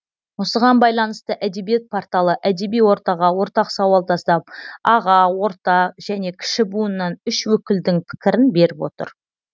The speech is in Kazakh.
осыған байланысты әдебиет порталы әдеби ортаға ортақ сауал тастап аға орта және кіші буыннан үш өкілдің пікірін беріп отыр